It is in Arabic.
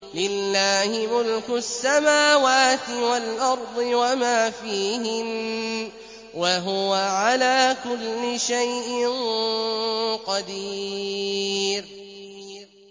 لِلَّهِ مُلْكُ السَّمَاوَاتِ وَالْأَرْضِ وَمَا فِيهِنَّ ۚ وَهُوَ عَلَىٰ كُلِّ شَيْءٍ قَدِيرٌ